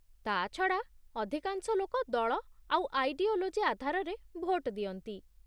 ତା'ଛଡ଼ା, ଅଧିକାଂଶ ଲୋକ ଦଳ ଆଉ ଆଇଡିଓଲୋଜି ଆଧାରରେ ଭୋଟ ଦିଅନ୍ତି ।